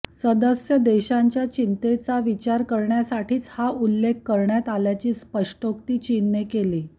सदस्य देशांच्या चिंतांचा विचार करण्यासाठीच हा उल्लेख करण्यात आल्याची स्पष्टोक्ती चीनने केली